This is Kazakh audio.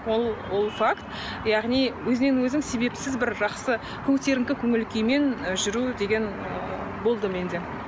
ол ол факт яғни өзінен өзің себепсіз бір жақсы көтеріңкі көңіл күймен і жүру деген ы болды менде